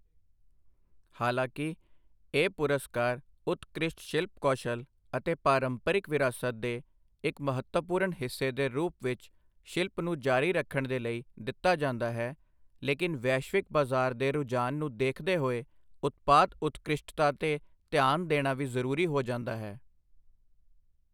ਹਾਲਾਕਿ ਇਹ ਪੁਰਸਕਾਰ ਉਤਕ੍ਰਿਸ਼ਟ ਸ਼ਿਲਪ ਕੌਸ਼ਲ ਅਤੇ ਪਾਰੰਪਰਿਕ ਵਿਰਾਸਤ ਦੇ ਇੱਕ ਮਹੱਤਵਪੂਰਨ ਹਿੱਸੇ ਦੇ ਰੂਪ ਵਿੱਚ ਸ਼ਿਲਪ ਨੂੰ ਜਾਰੀ ਰੱਖਣ ਦੇ ਲਈ ਦਿੱਤਾ ਜਾਂਦਾ ਹੈ, ਲੇਕਿਨ ਵੈਸ਼ਵਿਕ ਬਜ਼ਾਰ ਦੇ ਰੂਝਾਨ ਨੂੰ ਦੇਖਦੇ ਹੋਏ ਉਤਪਾਦ ਉਤਕ੍ਰਿਸ਼ਟਤਾ ਤੇ ਧਿਆਨ ਦੇਣਾ ਵੀ ਜ਼ਰੂਰੀ ਹੋ ਜਾਂਦਾ ਹੈ।